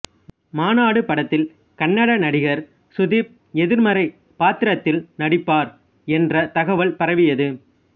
மாநாடு படத்தில் கன்னட நடிகர் சுதீப் எதிர்மறை பாத்திரத்தில் நடிப்பார் என்ற தகவல் பரவியது